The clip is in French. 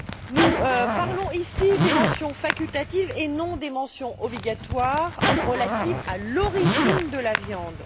Nous parlons ici des mentions facultatives et non des mentions obligatoires relatives à l'origine de la viande.